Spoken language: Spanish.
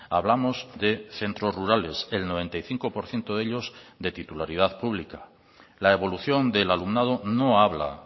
hablamos de centros rurales el noventa y cinco por ciento de ellos de titularidad pública la evolución del alumnado no habla